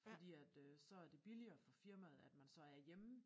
Fordi at øh så er det billigere for firmaet at man så er hjemme